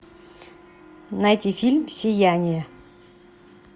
найти фильм сияние